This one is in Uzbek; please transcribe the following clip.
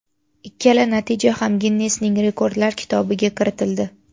Ikkala natija ham Ginnesning rekordlar kitobiga kiritildi.